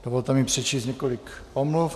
Dovolte mi přečíst několik omluv.